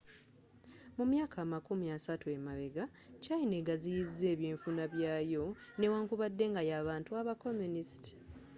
mu myaka amakumi asatu emabegga china eggaziyiza ebynfuna byayo newankubadde nga y'abantu aba communist